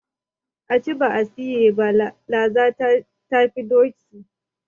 A ci ba a siye ba, laza ta fi doki.